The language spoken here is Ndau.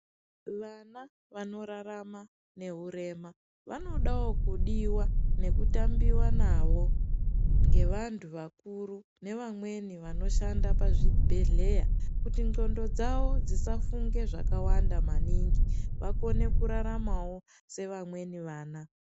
Vana vanorarama neurema vanodawo kudiwa nekutambiwa nawo ngevantu vakuru nevamweni vanoshanda pazvibhedhleya kuti ndxondo dzawo dzisafunge zvakawanda maningi vakone kurarama sevamweni vana .